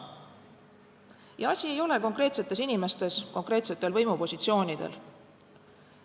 Ja asi ei ole konkreetsetes inimestes konkreetsetel võimupositsioonidel.